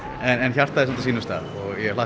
en hjartað á sínum stað takk